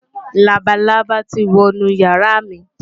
Labalábá ti wo inú ìyàrá mi.